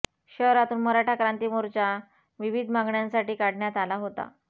शहरातून मराठा क्रांती मोर्चा विविध मागण्यांसाठी काढण्यात आला होता